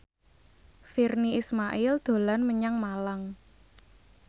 Virnie Ismail dolan menyang Malang